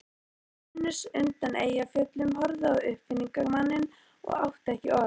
Venus undan Eyjafjöllum horfði á uppfinningamanninn og átti ekki orð.